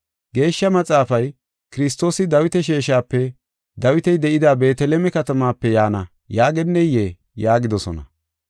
Geeshsha Maxaafay, ‘Kiristoosi Dawita sheeshape Dawiti de7ida Beeteleme katamaape yaana’ yaageneyee?” yaagidosona.